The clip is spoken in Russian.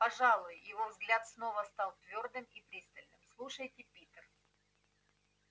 пожалуй его взгляд снова стал твёрдым и пристальным слушайте питер